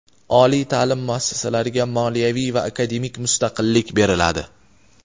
oliy taʼlim muassasalariga moliyaviy va akademik mustaqillik beriladi.